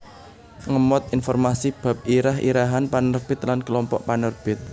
ngemot informasi bab irah irahan panerbit lan kelompok panerbit